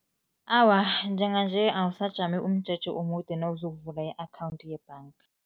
Awa, njenganje awusajami umjeje omude nawuzokuvula i-akhawundi yebhanga.